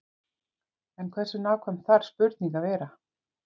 En hversu nákvæm þarf spurning að vera?